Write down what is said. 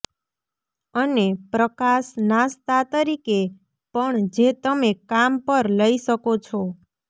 અને પ્રકાશ નાસ્તા તરીકે પણ જે તમે કામ પર લઈ શકો છો